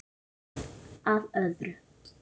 En að öðru.